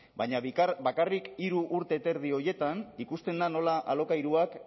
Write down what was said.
baina bakarrik hiru urte eta erdi horietan ikusten da nola alokairuak